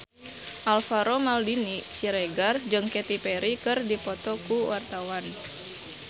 Alvaro Maldini Siregar jeung Katy Perry keur dipoto ku wartawan